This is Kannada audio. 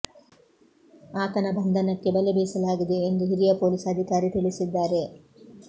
ಆತನ ಬಂಧನಕ್ಕೆ ಬಲೆ ಬೀಸಲಾಗಿದೆ ಎಂದು ಹಿರಿಯ ಪೊಲೀಸ್ ಅಧಿಕಾರಿ ತಿಳಿಸಿದ್ದಾರೆ